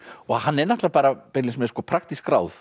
hann er beinlínis með praktísk ráð